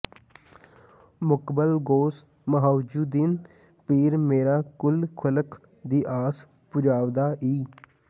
ਮੁਕਬਲ ਗ਼ੌਸ ਮੁਹਈਯੁੱਦੀਨ ਪੀਰ ਮੇਰਾ ਕੁਲ ਖ਼ਲਕ ਦੀ ਆਸ ਪੁਜਾਂਵਦਾ ਈ